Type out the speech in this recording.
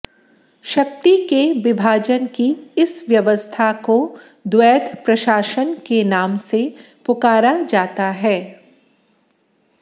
शक्ति के विभाजन की इस व्यवस्था को द्वैध प्रशासन के नाम से पुकारा जाता है